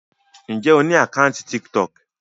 Ǹjẹ́ o ní àkáńtì Tiktok?